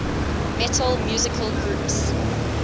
metal musical groups